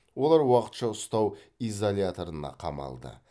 олар уақытша ұстау изоляторына қамалды